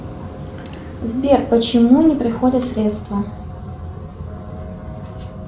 сбер почему не приходят средства